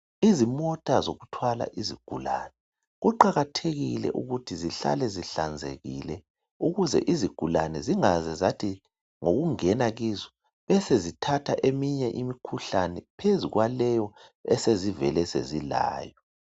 Izimota zokuthwala izigulane. Kuqakathekile ukuthi zihlale zihlanzekile ukuze izigulane zingaze zathi ukungena kuzo zibesezithatha eminye imikhuhlane phezu kwaleyo esezivele sezilayo.